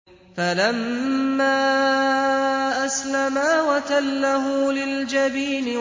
فَلَمَّا أَسْلَمَا وَتَلَّهُ لِلْجَبِينِ